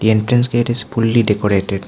entrance gate is fully decorated.